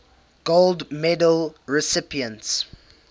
gold medal recipients